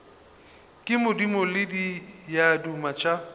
ke madimo le diaduma tša